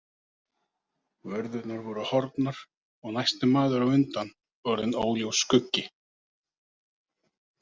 Vörðurnar voru horfnar og næsti maður á undan orðinn óljós skuggi.